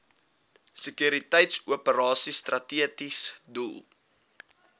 sekuriteitsoperasies strategiese doel